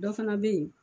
Dɔ fana bɛ yen